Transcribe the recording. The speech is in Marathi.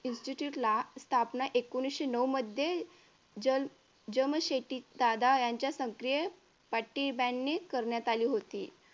institude ला स्थापना एकोणविशे नऊ मध्ये जमशेटी टाटा यांच्या सक्रिय पती banned करण्यात आली होती.